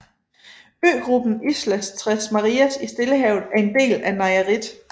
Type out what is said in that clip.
Øgruppen Islas Tres Marias i Stillehavet er en del af Nayarit